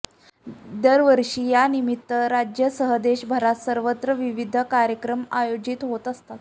दरवर्षी यानिमित्त राज्यासह देशभरात सर्वत्र विविध कार्यक्रम आयोजित होत असतात